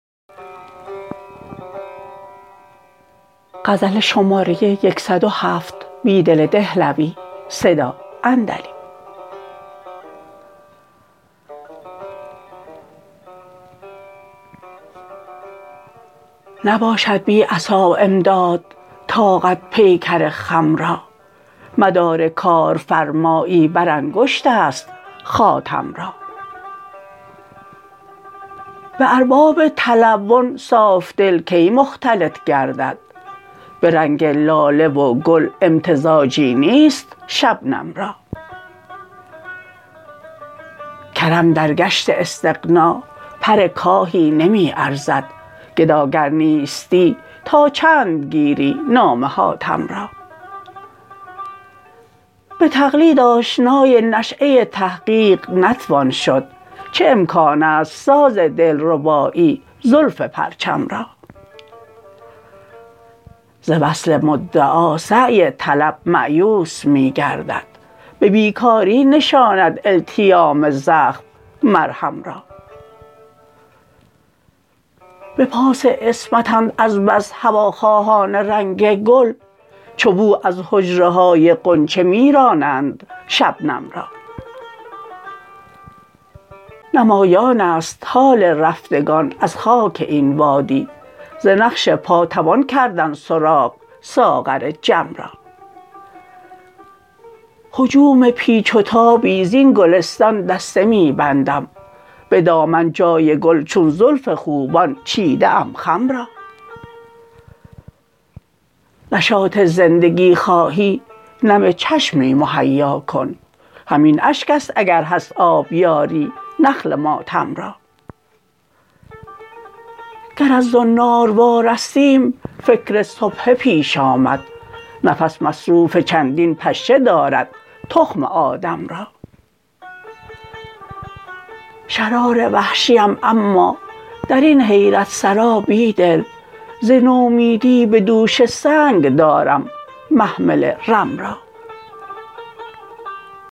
نباشد بی عصا امداد طاقت پیکر خم را مدارکار فرمایی برانگشت است خاتم را به ارباب تلون صافدل کی مختلط گردد به رنگ لاله وگل امتزاجی نیست شبنم را کرم درگشت استغنا پرکاهی نمی ارزد گداگر نیستی تا چندگیری نام حاتم را به تقلید آشنای نشیه تحقیق نتوان شد چه امکان است سازدلربایی زلف پرچم را ز وصل مدعاسعی طلب مایوس می گردد به بیکاری نشاند التیام زخم مرهم را به پاس عصمتند از بس هواخواهان رنگ گل چو بو از حجره های غنچه می رانند شبنم را نمایان است حال رفتگان از خاک این وادی زنقش پا توان کردن سراغ ساغر جم را هجوم پیچ و تابی زین گلستان دسته می بندم به دامن جای گل چون زلف خوبان چیده ام خم را نشاط زندگی خواهی نم چشمی مهیاکن همین اشک است اگرهست آبیاری نخل ماتم را گر از زنار وارستیم فکر سبحه پیش آمد نفس مصروف چندین پشه دارد تخم آدم را شرار وحشی ام اما درین حیرتسرا بیدل ز نومیدی به دوش سنگ دارم محمل رم را